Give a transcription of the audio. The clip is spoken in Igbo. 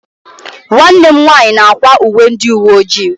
Nwanne m nwanyị na-akwa uwe ndị uwe ojii.